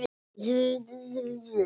Íslam í Noregi.